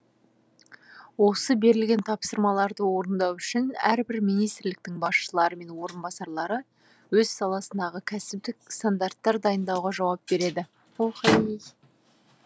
осы берілген тапсырмаларды орындау үшін әрбір министрліктің басшылары мен орынбасарлары өз саласындағы кәсіптік стандарттар дайындауға жауап береді